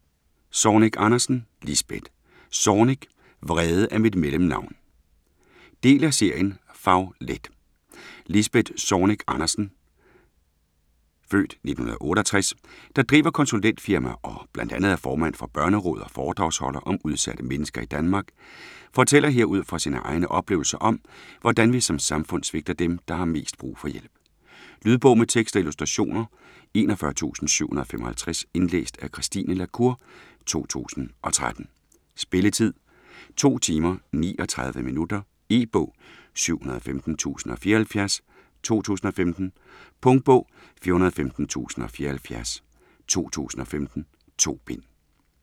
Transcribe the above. Zornig Andersen, Lisbeth: Zornig - vrede er mit mellemnavn Del af serien Fag-let. Lisbeth Zornig Andersen (f. 1968), der driver konsulentfirma og bl.a. er formand for Børnerådet og foredragsholder om udsatte mennesker i Danmark, fortæller her, ud fra sine egne oplevelser om, hvordan vi som samfund svigter dem, der har mest brug for hjælp. Lydbog med tekst og illustrationer 41755 Indlæst af Christine la Cour, 2013. Spilletid: 2 timer, 39 minutter. E-bog 715074 2015. Punktbog 415074 2015. 2 bind.